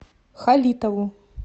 халитову